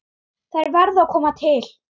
Þær verði að koma til.